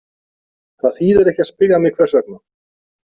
Það þýðir ekki að spyrja mig hvers vegna.